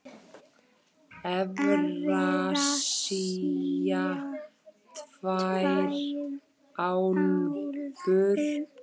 Evrasía tvær álfur.